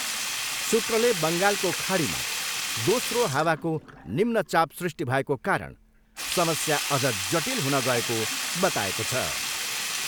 सूत्रले बङ्गालको खाडीमा दोस्रो हावाको निम्न चाप सृष्टि भएको कारण समस्या अझ जटिल हुन गएको बताएको छ।